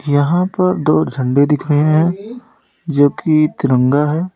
यहां पर दो झंडा दिख रहे हैं जो की तिरंगा है।